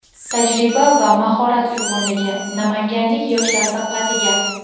Tajriba va mahorat uyg‘unligi : Namanganlik yoshlar diqqatiga!.